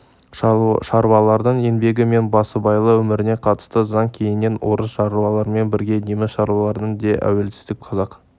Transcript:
шаруалардың еңбегі мен басыбайлы өміріне қатысты заң кейіннен орыс шаруаларымен бірге неміс шаруаларының да әуелде қазақ